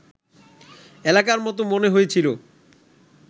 এলাকার মতো মনে হয়েছিল